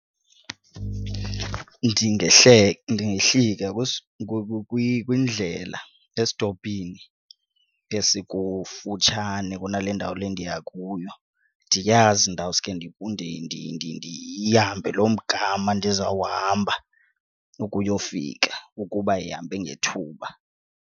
Ndingehlika kwindlela esitopini esikufutshane kunale ndawo le ndiya kuyo ndiyazi ndawuske ndihambe loo mgama ndizawuhamba ukuyofika ukuba ihambe ngethuba.